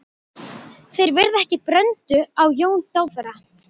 Þeir veiða ekki bröndu á Jóni Dofra.